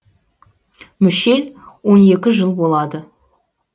мүшел он екі жыл болады